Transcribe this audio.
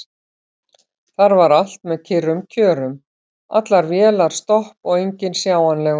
Þar var allt með kyrrum kjörum: allar vélar stopp og enginn sjáanlegur.